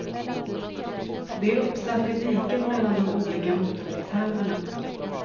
Det är uppsatt i diket mellan de olika motorvägshalvorna.